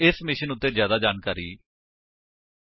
ਇਸ ਮਿਸ਼ਨ ਉੱਤੇ ਜਿਆਦਾ ਜਾਣਕਾਰੀ ਇਸ ਲਿੰਕ ਉੱਤੇ ਉਪਲੱਬਧ ਹੈ